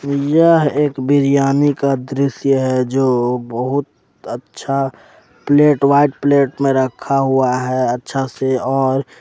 यह एक बिरयानी का दृश्य है जो बहुत अच्छा प्लेट व्हाइट प्लेट मे रखा हुआ है अच्छा से और।